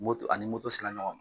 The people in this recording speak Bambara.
Moto ani moto sela ɲɔgɔn man.